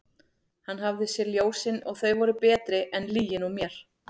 Hann hafði séð ljósin og þau voru betri en lygin úr mér.